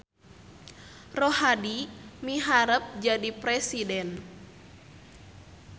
Rohadi miharep jadi presiden